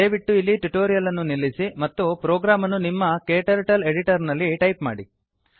ದಯವಿಟ್ಟು ಇಲ್ಲಿ ಟ್ಯುಟೋರಿಯಲ್ ಅನ್ನು ನಿಲ್ಲಿಸಿ ಮತ್ತು ಪ್ರೋಗ್ರಾಮ್ ಅನ್ನು ನಿಮ್ಮ ಕ್ಟರ್ಟಲ್ ಎಡಿಟರ್ ನಲ್ಲಿ ಟೈಪ್ ಮಾಡಿ